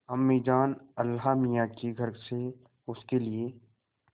अम्मीजान अल्लाहमियाँ के घर से उसके लिए